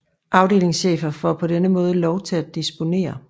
Afdelingschefer får på denne måde lov til at disponere